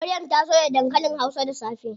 Maryam ta soya dankalin hausa da safe.